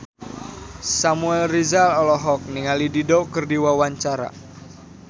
Samuel Rizal olohok ningali Dido keur diwawancara